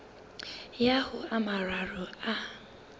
ya ho a mararo a